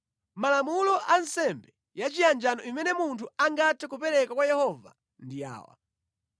“ ‘Malamulo a nsembe ya chiyanjano imene munthu angathe kupereka kwa Yehova ndi awa: